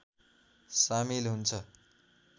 सामिल हुन्छ